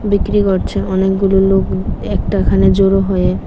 বিক্রি করছে অনেকগুলো লোক উম একটাখানে জড়ো হয়ে।